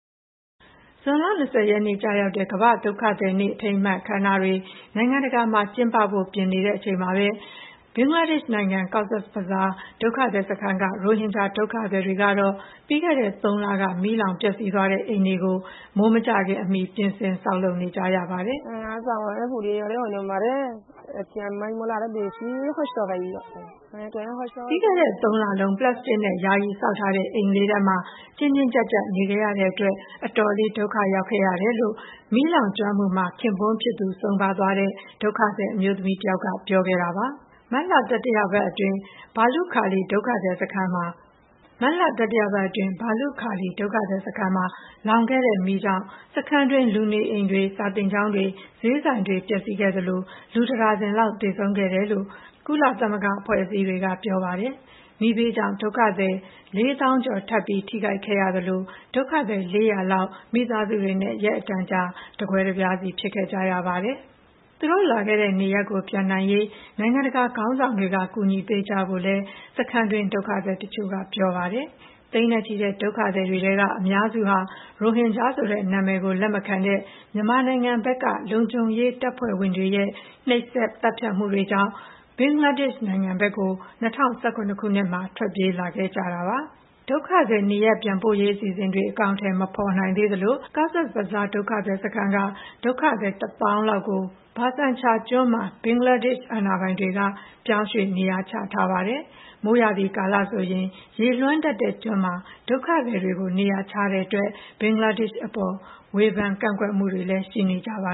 ဇွန်လ ၂၀ ရက်နေ့ ကျရောက်တဲ့ ကမ္ဘာ့ဒုက္ခသည်နေ့ အထိမ်းအမှတ် အခမ်းအနားတွေ နိုင်ငံတကာမှာ ကျင်းပဖို့ ပြင်ဆင်နေချိန်မှာပဲ ဘင်္ဂလားဒေ့ရှ်နိုင်ငံ Cox's Bazar ဒုက္ခသည်စခန်းက ရိုဟင်ဂျာဒုက္ခသည်တွေကတော့ ပြီးခဲ့တဲ့သုံးလက မီးလောင်ပျက်စီးသွားတဲ့ အိမ်တွေကို မိုးမကျခင်အမီ ပြင်ဆင် ဆောက်လုပ်နေကြရပါတယ်။ "ပြီးခဲ့တဲ့ သုံးလလုံး ပလပ်စတစ်နဲ့ ယာယီဆောက်ထားတဲ့ အိမ်လေးထဲမှာ ကျဉ်းကျဉ်းကြပ်ကြပ် နေခဲ့ရတဲ့အတွက် အတော်လေး ဒုက္ခရောက်ခဲ့ပါတယ်" လို့ မီးလောင်ကျွမ်းမှုမှာ ခင်ပွန်းဖြစ်သူ ဆုံးပါးသွားတဲ့ ဒုက္ခသည် အမျိုးသမီးတယောက်ကပြောပါတယ်။ အခုတော့ နေစရာအိမ်တလုံး ပိုင်ဆိုင်ရလို့ ဝမ်းသာမိပါတယ်လို့လည်း ပြောပါတယ်။ မတ်လ တတိယပတ်အတွင်း ဘာလုခါလီ ဒုက္ခသည်စခန်းမှာ လောင်ခဲ့တဲ့မီးကြောင့် စခန်းအတွင်း လူနေအိမ်တွေ၊ စာသင်ကျောင်းတွေ၊ ဈေးဆိုင်တွေ ပျက်စီးခဲ့သလို လူ တဒါဇင်လောက် သေဆုံးခဲ့တယ်လို့ ကုလသမဂ္ဂ အဖွဲ့အစည်းတွေက ပြောပါတယ်။ မီးဘေးကြောင့် ဒုက္ခသည် ၄၀,၀၀၀ ကျော် ထပ်ပြီး ထိခိုက်ခဲ့ရသလို ဒုက္ခသည် ၄၀၀ လောက် မိသားစုတွေနဲ့ ရက်အတန်ကြာ တကွဲတပြားစီ ဖြစ်ခဲ့ကြပါတယ်။ သူတို့လာခဲ့တဲ့နေရပ်ကို ပြန်နိုင်ရေး နိုင်ငံတကာခေါင်းဆောင်တွေက ကူညီပေးကြဖို့လည်း စခန်းအတွင်းက ဒုက္ခသည်တချို့ကပြောပါတယ်။ သိန်းနဲ့ချီတဲ့ ဒုက္ခသည်တွေထဲက အများစုဟာ ရိုဟင်ဂျာဆိုတဲ့နာမည်ကို လက်မခံတဲ့ မြန်မာနိုင်ငံဘက်က လုံခြုံရေးတပ်ဖွဲ့ဝင်တွေရဲ့ နှိပ်စက် သတ်ဖြတ်မှုတွေကြောင့် ဘင်္ဂလားဒေ့ရှ်နိုင်ငံဘက်ကို ၂၀၁၇ ခုနှစ်မှာ ထွက်ပြေးခဲ့ကြသူတွေဖြစ်ပါတယ်။ ဒုက္ခသည် နေရပ်ပြန်ပို့ရေး အစီအစဉ်တွေ အကောင်အထည် မဖေါ်နိုင်သေးသလို Cox's Bazar ဒုက္ခသည် စခန်းက ဒုက္ခသည် ၁၀,၀၀၀ လောက်ကို Bhasan Char ကျွန်းမှာ ဘင်္ဂလားဒေ့ရှ်အာဏာပိုင်တွေက ပြောင်းရွေ့ နေရာချထားပါတယ်။ မိုးရာသီကာလဆိုရင် ရေလွှမ်းတတ်တဲ့ကျွန်းမှာ ဒုက္ခသည်တွေကို နေရာချတဲ့အတွက် ဘင်္ဂလားဒေရှ့်အစိုးရအပေါ် ဝေဖန် ကန့်ကွက်မှုတွေလည်း ရှိနေကြပါ